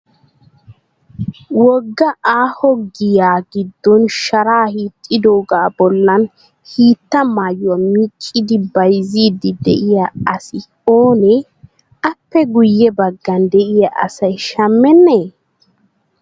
Wogga aaho giyaa giddon shara hiixxidooga bollan hiitta maayyuwaa miccidi biyizziddi diyaa asi oonee? Appe guyye baggan diya asayi shammennee?